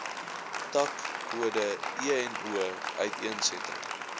takkode eno uiteensetting